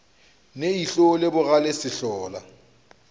ne ihlo le bogale sehlola